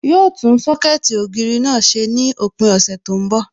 Yóò tún Sọ́kẹ̀tì ògiri náà ṣe ní òpin ọ̀sẹ̀ tí ó ń bọ̀